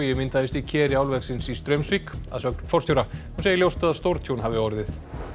myndaðist í keri álversins í Straumsvík að sögn forstjóra hún segir ljóst að stórtjón hafi orðið